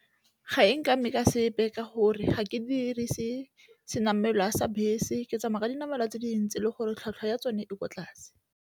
Ga e nkame ka sepe ka gore ga ke dirise senamelwa a sa bese, ke tsamaya ka dinamelwa tse dintsi le gore tlhwatlhwa ya tsone e kwa tlase.